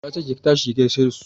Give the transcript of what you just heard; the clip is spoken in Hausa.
Na ce ki tashi ki gaishe su!